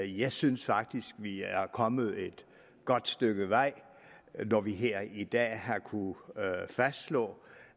jeg synes faktisk vi er kommet et godt stykke vej når vi her i dag har kunnet fastslå